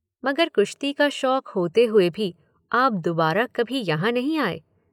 मगर कुश्ती का शौक होते हुए भी आप दुबारा कभी यहाँ नहीं आए।